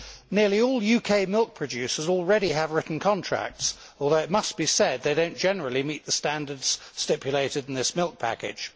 Nearly all UK milk producers already have written contracts, although it must be said that they do not generally meet the standards stipulated in this milk package.